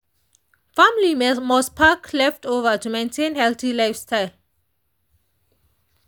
families must pack leftover to maintain healthy lifestyle.